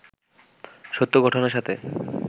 সত্য ঘটনার সাথে